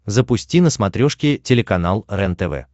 запусти на смотрешке телеканал рентв